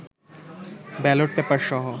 ballot পেপারসহ